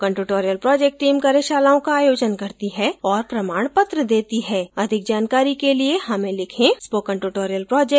spoken tutorial project team कार्यशालाओं का आयोजन करती है और प्रमाणपत्र देती है अधिक जानकारी के लिए हमें लिखें